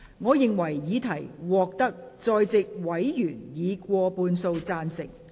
我認為議題獲得在席委員以過半數贊成。